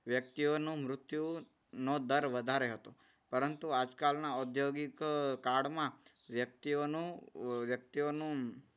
વ્યક્તિઓનો મૃત્યુ નો દર વધારે હતો. પરંતુ આજકાલના ઔદ્યોગિક કાળમાં વ્યક્તિઓનું વ્યક્તિઓનું